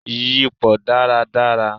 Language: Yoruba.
Yípọ́ dàrá dàrá